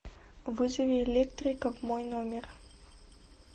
вызови электрика в мой номер